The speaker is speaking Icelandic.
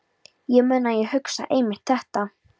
Ég man að ég hugsaði einmitt þetta.